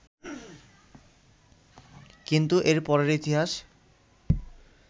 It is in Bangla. কিন্তু এর পরের ইতিহাস